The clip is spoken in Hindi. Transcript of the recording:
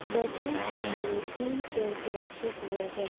बैठने के लिए तीन चेयर भी रखे हुए है।